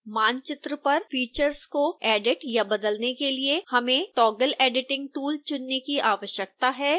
मानचित्र पर फीचर्स को एडिट या बदलने के लिए हमें toggle editing tool चुनने की आवश्यकता है